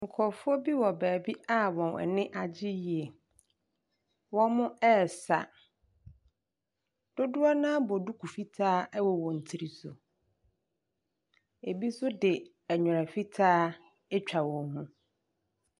Nkurɔfoɔ bi wɔ baabi a wɔn ani agye yie. Wɔresa. Dodoɔ no ara abɔ duku fitaa wɔ wɔn tiri so. Ebi nso de nwera fitaa atwa wɔn mu.